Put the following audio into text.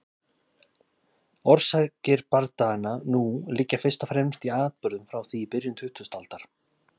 Orsakir bardaganna nú liggja fyrst og fremst í atburðum frá því í byrjun tuttugustu aldar.